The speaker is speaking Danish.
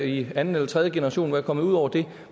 i anden eller tredje generation være kommet ud over det